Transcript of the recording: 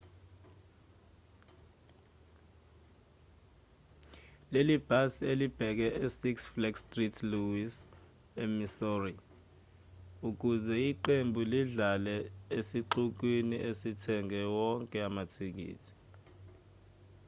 leli bhasi belilibheke e six flags st louis e-missouri ukuze iqembu lidlale esixukwini esithenge wonke amathikithi